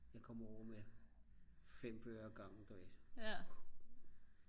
jeg kom over med 5 bøger ad gangen du ved